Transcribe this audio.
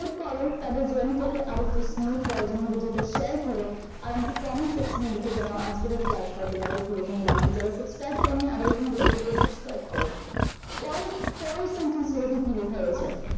save করো, তাদের journey তাকে আরো smooth করার জন্য ভিডিওটাকে share কর আর আমাকে comment section য়ে লিখে জানাও আজকের এই ক্লাসটা তোমাদের কি রকম লাগলো আর যারা subscribe করনি আরো নতুন ভিডিওর জন্য subscribe কর পরের sentence টা দেখে কি লেখা রয়েছে